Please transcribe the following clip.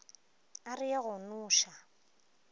a re ye go noša